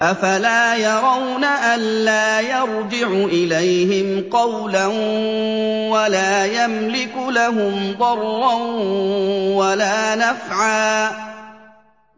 أَفَلَا يَرَوْنَ أَلَّا يَرْجِعُ إِلَيْهِمْ قَوْلًا وَلَا يَمْلِكُ لَهُمْ ضَرًّا وَلَا نَفْعًا